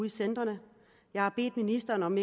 i centrene jeg har bedt ministeren om